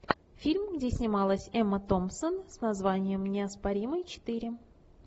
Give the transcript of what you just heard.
фильм где снималась эмма томпсон с названием неоспоримый четыре